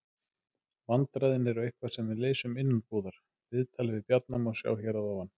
Vandræðin eru eitthvað sem við leysum innanbúðar. Viðtalið við Bjarna má sjá hér að ofan.